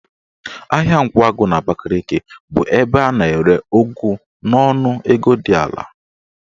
Ahịa Nkwagụ n'Abakaliki bụ ebe a na-ere ụgụ n'ọnụ ego dị ala.